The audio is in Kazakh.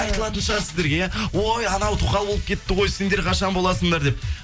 айтылатын шығар сіздерге иә ой анау тоқал болып кетті ғой сендер қашан боласыңдар деп